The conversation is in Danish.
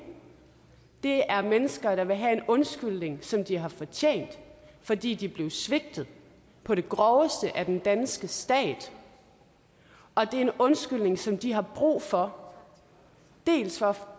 det er mennesker der vil have en undskyldning som de har fortjent fordi de blev svigtet på det groveste af den danske stat og det er en undskyldning som de har brug for dels for